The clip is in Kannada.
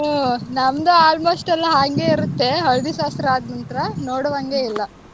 ಹ್ಮ್ ನಮ್ದು almost ಎಲ್ಲಾ ಹಾಂಗೆ ಇರುತ್ತೆ, ಹಳ್ದಿ ಶಾಸ್ತ್ರ ಆದ್ ನಂತ್ರ ನೋಡು ಹಂಗೆ ಇಲ್ಲ.